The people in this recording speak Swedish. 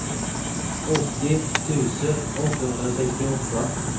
åttio tusen åttahundrasextioåtta